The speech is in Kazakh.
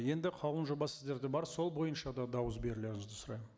енді қаулының жобасы сіздерде бар сол бойынша да дауыс берулеріңізді сұраймын